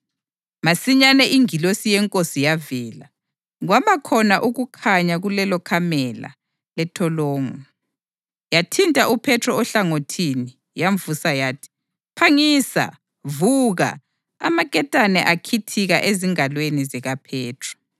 Masinyane ingilosi yeNkosi yavela, kwabakhona ukukhanya kulelokamela lentolongo. Yathinta uPhethro ohlangothini, yamvusa yathi, “Phangisa, vuka!” Amaketane akhithika ezingalweni zikaPhethro.